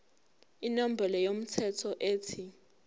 inombolo yomthelo ethi